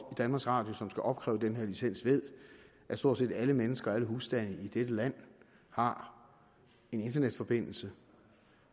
danmarks radio som skal opkræve den her licens ved at stort set alle mennesker og alle husstande i dette land har en internetforbindelse